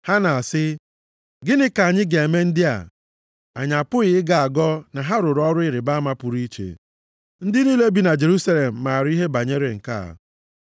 Ha na-asị, “Gịnị ka anyị ga-eme ndị a? Anyị apụghị ịgọ agọ na ha rụrụ ọrụ ịrịbama pụrụ iche. Ndị niile bi na Jerusalem maara ihe banyere nke a.